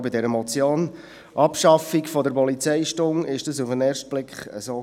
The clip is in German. Auch bei der Motion «Abschaffung der Polizeistunde» war das auf den ersten Blick so.